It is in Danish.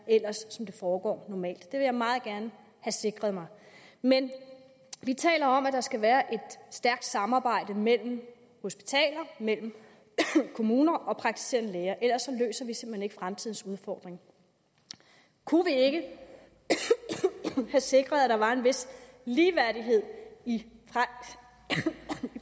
ellers foregår normalt det vil jeg meget gerne have sikret mig men vi taler om at der skal være et stærkt samarbejde mellem hospitaler mellem kommuner og praktiserende læger ellers løser vi simpelt hen ikke fremtidens udfordring kunne vi ikke have sikret at der var en vis ligeværdighed i